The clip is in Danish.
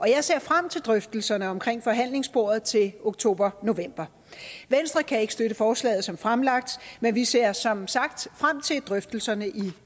jeg ser frem til drøftelserne omkring forhandlingsbordet til oktober november venstre kan ikke støtte forslaget som fremsat men vi ser som sagt frem til drøftelserne i